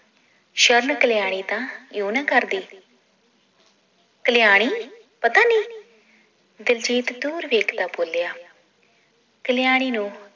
ਸ਼ਰਨ ਕਲਿਆਣੀ ਤਾਂ ਯੂੰ ਨਾ ਕਰਦੀ ਕਲਿਆਣੀ ਪਤਾਨੀ ਦਿਲਜੀਤ ਦੂਰ ਵੇਖਦਾ ਬੋਲਿਆ ਕਲਿਆਣੀ ਨੂੰ